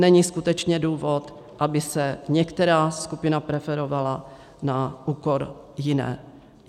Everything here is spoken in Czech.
Není skutečně důvod, aby se některá skupina preferovala na úkor jiné.